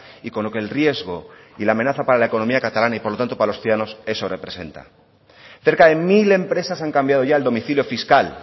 y con lo que el riesgo y la amenaza para la economía catalana y por lo tanto para los ciudadanos eso representa cerca de mil empresas han cambiado ya el domicilio fiscal